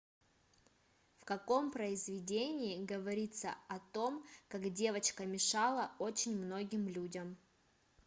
в каком произведение говорится о том как девочка мешала очень многим людям